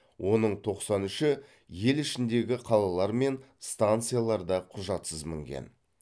оның тоқсан үші ел ішіндегі қалалар мен станцияларда құжатсыз мінген